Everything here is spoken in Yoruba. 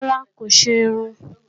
Rárá, kò ṣe irun